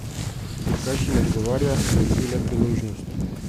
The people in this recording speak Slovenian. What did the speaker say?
Dirkač jim odgovarja, da želi le priložnost.